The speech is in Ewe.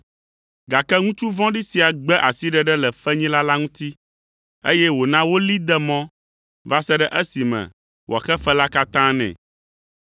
“Gake ŋutsu vɔ̃ɖi sia gbe asiɖeɖe le fenyila la ŋuti, eye wòna wolée de mɔ va se ɖe esime wòaxe fe la katã nɛ.